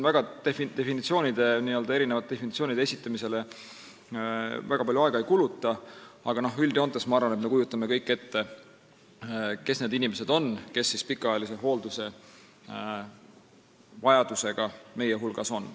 Ma definitsioonide esitamisele väga palju aega ei kuluta, ma arvan, et üldjoontes me kujutame kõik ette, kes on need inimesed, kellel on pikaajalise hoolduse vajadus.